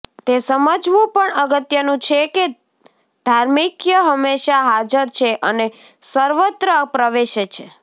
તે સમજવું પણ અગત્યનું છે કે ધાર્મિકય હંમેશાં હાજર છે અને સર્વત્ર પ્રવેશે છે